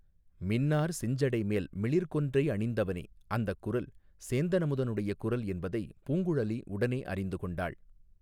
மின்னார் செஞ்சடைமேல் மிளிர்கொன்றை அணிந்தவனே அந்தக் குரல் சேந்தன் அமுதனுடைய குரல் என்பதை பூங்குழலி உடனே அறிந்து கொண்டாள்.